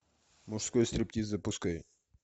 мужской стриптиз запускай